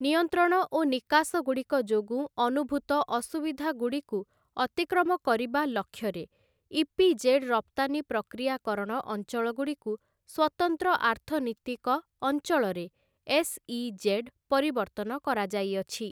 ନିୟନ୍ତ୍ରଣ ଓ ନିକାଶଗୁଡ଼ିକ ଯୋଗୁଁ ଅନୁଭୁତ ଅସୁବିଧାଗୁଡ଼ିକୁ ଅତିକ୍ରମ କରିବା ଲକ୍ଷ୍ୟରେ ଇପିଜେଡ୍ ରପ୍ତାନି ପ୍ରକ୍ରିୟାକରଣ ଅଞ୍ଚଳଗୁଡ଼ିକୁ ସ୍ଵତନ୍ତ୍ର ଆର୍ଥନୀତିକ ଅଞ୍ଚଳରେ ଏସ୍ଇଜେଡ୍ ପରିବର୍ତ୍ତନ କରାଯାଇଅଛି ।